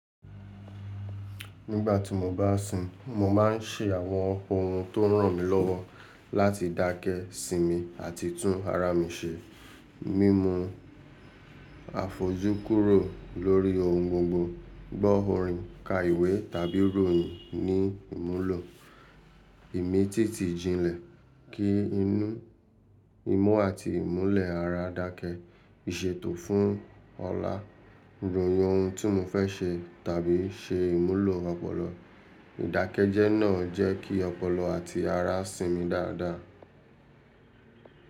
Nígbà tí mo bá sun, mo má ń se àwọn ohun tó ràn mí lọ́wọ́ láti dákẹ́ sinmi àti tún ara mi se. Mimu àfojúkúrò lórí ohun gbogbo, gbọ́ orin, ka ìwé tàbí ròyìn ní ìmulo ìmítìtì jinlẹ̀ ki inú, imú àti ìmúlẹ̀ ara dákẹ́, ìṣètò fún ọlá, ròhin ohun tí mo fẹ́ se tàbí ṣe ìmulo ọpọlọ. Ìdákẹ́jẹ́ náà jẹ́ kí ọpọlọ àti ara sinmi dáadáa.